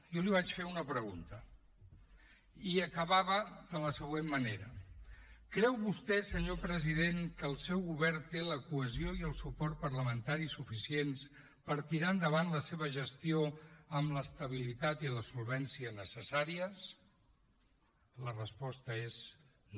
jo li vaig fer una pregunta i acabava de la següent manera creu vostè senyor president que el seu govern té la cohesió i el suport parlamentari suficients per tirar endavant la seva gestió amb l’estabilitat i la solvència necessàries la resposta és no